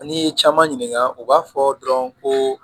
N'i ye caman ɲininka u b'a fɔ dɔrɔn ko